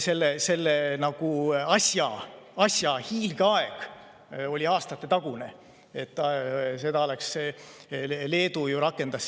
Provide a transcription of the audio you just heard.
Selle euribori asja hiilgeaeg jääb aastate taha, siis ka Leedu ju seda rakendas.